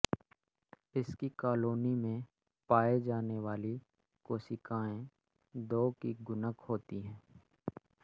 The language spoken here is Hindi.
इसकी कालोनी में पाये जाने वाली कोशिकाएं दो की गुणक होती है